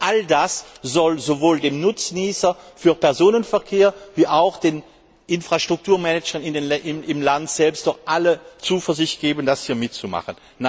All das soll also sowohl dem Nutznießer für Personenverkehr wie auch den Infrastrukturmanagern im Land selbst doch alle Zuversicht geben, das hier mitzumachen.